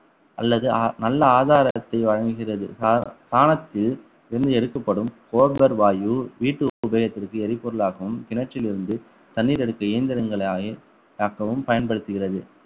அல்லது நல்ல ஆதாரத்தை வழங்குகிறது சாணத்தில் இருந்து எடுக்கப்படும் cobar வாயு வீட்டு உபயோகத்திற்கு எரிபொருளாகவும் கிணற்றிலிருந்து தண்ணீர் எடுக்கும் இயந்திரங்களை தாக்கவும் பயன்படுத்துகிறது